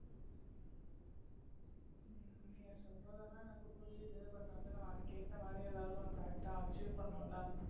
நீங்க சொல்றது எல்லாம் எனக்கு புரியுது but வந்து நம்ம அதுக்கு ஏத்த மாதிரி எதாவது ஒண்ணு correct ஆ achieve பண்ணணும் இல்ல